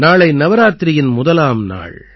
நாளை நவராத்திரியின் முதலாம் நாள்